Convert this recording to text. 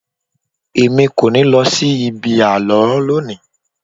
Èmi kò ní lọ sí ibi àlọ́ lónìí.